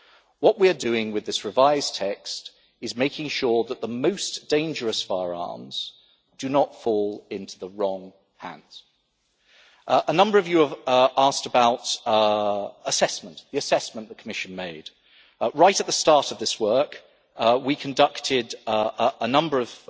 What we are doing with this revised text is making sure that the most dangerous firearms do not fall into the wrong hands. A number of you have asked about the assessment the Commission made. Right at the start of this work, we conducted a number